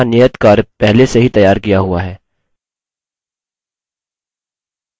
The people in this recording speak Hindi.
मैंने यहाँ नियतकार्य पहले से ही तैयार किया हुआ है